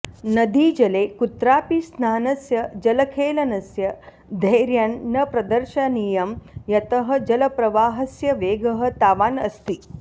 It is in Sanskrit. नदीजले कुत्रापि स्नानस्य जलखेलनस्य धैर्यं न प्रदर्शनीयं यतः जलप्रवाहस्य वेगः तावान् अस्ति